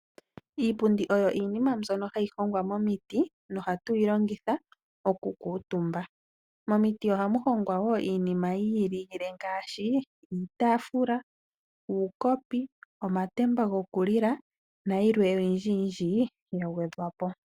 Iipundi oyo iinima mbyono hayi hongwa momiti nohatu yi longitha okukuutumba. Momiti ohamu hongwa wo iinima yi ilile ngaashi iitaafula, uukopi, omatemba gokulila nayilwe oyindji yindji ya gwedhwa po.